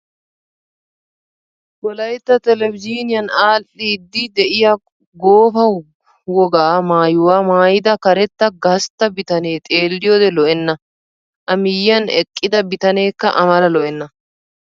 Wolayitta telbejiiniyan aadhdhiiddi diya goofa wogaa maayyuwaa maayyida karetta gastta bitaanee xeelliyoode lo''enna. A miyyiyaan eqqida bitaaneekka A mala lo''enna.